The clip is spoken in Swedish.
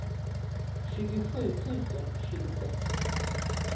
tjugosju tusen tjugosex